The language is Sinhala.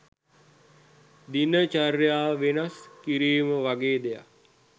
දින චර්යාව වෙනස් කිරීම වගේ දෙයක්